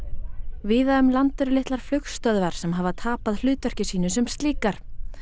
víða um land eru litlar flugstöðvar sem hafa tapað hlutverki sínu sem slíkar